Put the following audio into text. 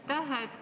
Aitäh!